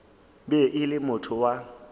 be e le motho wa